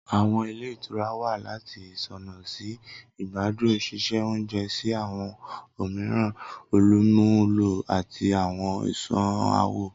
Awọn ìle ìtura wa lati isuna si igbadun, ṣiṣe ounjẹ si awọn omiiran olumulo ati awọn isunawo.